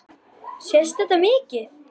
Sést þetta mikið?